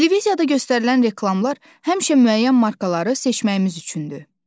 Televiziyada göstərilən reklamlar həmişə müəyyən markaları seçməyimiz üçündür.